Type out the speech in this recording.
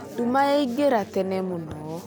Nduma yaĩngĩra tene mũno